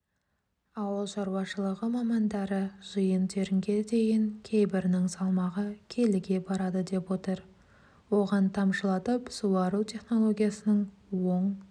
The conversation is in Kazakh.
ауыл шаруашылығы мамандары жиын-терінге дейін кейбірінің салмағы келіге барады деп отыр оған тамшылатып суару технологиясының оң